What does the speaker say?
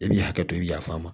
I b'i hakɛ to i ya faama